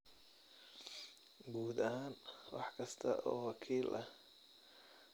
Guud ahaan, wax kasta oo wakiil ah oo ka xanaajiya maqaarka waa in laga fogaado.